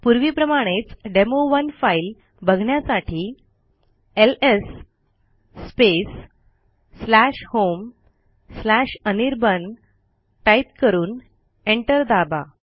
पूर्वीप्रमाणेच demo one file बघण्यासाठी LS homeanirban type करून एंटर दाबा